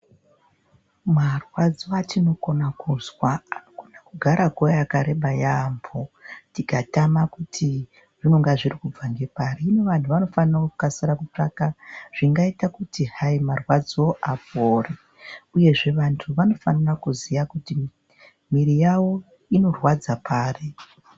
Marwadzo atinokona kuzwa anogara nguwa yakareba yaambo tikatama kuti zvinenge zviri kubva ngepari. Hino vantu vanofanira kukasakutsvaka zvingaita kuti hayi marwadzo apore, uyezve vantu vanofanira kuziya kuti miri yavo inorwadza pari.